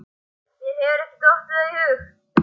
Mér hefur ekki dottið það í hug.